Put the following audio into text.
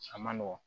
A ma nɔgɔn